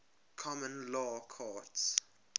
common law courts